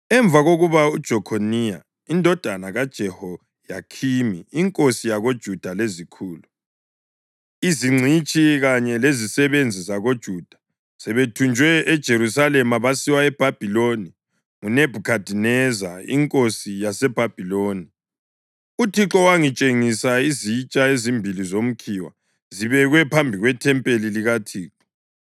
Emva kokuba uJekhoniya indodana kaJehoyakhimi inkosi yakoJuda lezikhulu, izingcitshi kanye lezisebenzi zakoJuda sebethunjwe eJerusalema basiwa eBhabhiloni nguNebhukhadineza inkosi yaseBhabhiloni, uThixo wangitshengisa izitsha ezimbili zomkhiwa zibekwe phambi kwethempeli likaThixo.